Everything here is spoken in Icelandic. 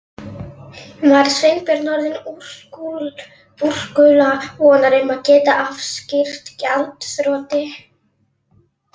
Var Sveinbjörn orðinn úrkula vonar um að geta afstýrt gjaldþroti?